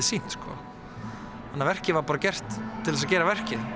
sýnt þannig að verkið var bara gert til þess að gera verkið